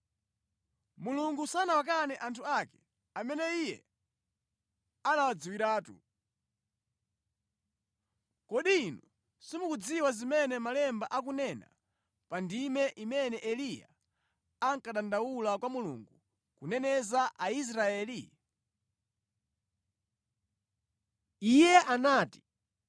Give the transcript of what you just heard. Mulungu sanawakane anthu ake amene Iye anawadziwiratu. Kodi inu simukudziwa zimene Malemba akunena pa ndime imene Eliya akudandaula kwa Mulungu kuneneza Aisraeli? Iye anati,